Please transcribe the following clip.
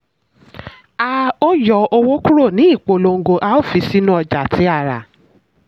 a ó yọ owó kúrò ní ìpolongo a ó fi sínu ọjà tí a rà.